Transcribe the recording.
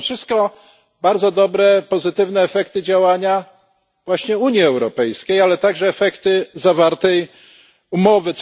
To są wszystko bardzo dobre, pozytywne efekty działania właśnie Unii Europejskiej, ale także efekty zawartej umowy.